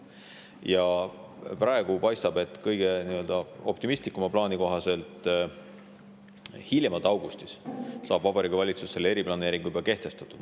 Ja praegu paistab, et kõige optimistlikuma plaani kohaselt hiljemalt augustis saab Vabariigi Valitsus selle eriplaneeringu juba kehtestatud.